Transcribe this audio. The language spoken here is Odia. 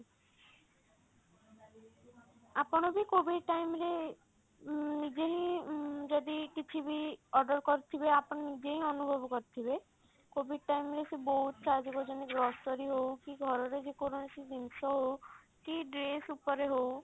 ଆପଣ ବି COVID time ରେ ଉଁ ନିଜେ ହିଁ ଉଁ ଯଦି କିଛି ବି order କରୁଥିବେ ଆପଣ ନିଜେ ହିଁ ଅନୁଭବ କରୁଥିବେ COVID time ରେ ସେ ବହୁତ ସାହାର୍ଯ୍ୟ କରିଛନ୍ତି grocery ହଉ କି ଘର ର ଯେକୌଣସି ଜିନିଷ ହଉ କି dress ଉପରେ ହଉ